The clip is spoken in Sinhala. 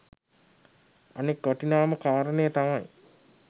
අනෙක් වටිනාම කාරණය තමයි